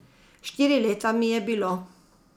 Štiri leta mi je bilo.